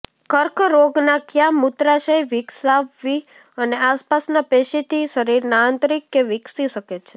કર્કરોગના ક્યાં મૂત્રાશય વિકસાવવી અને આસપાસના પેશી થી શરીરના આંતરિક કે વિકસી શકે છે